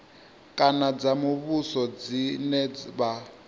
kana dza muvhuso dzine vha